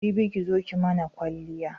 Jibi ki zo ki mana kwaliya.